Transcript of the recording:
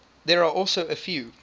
there are also a few